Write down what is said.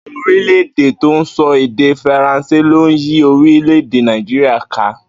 Àwo̩n orílè̩-èdè tó ń so̩ èdè Faransé ló yí orílè-èdè Nàìjíríà ká